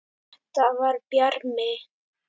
Þetta var Bjarmi!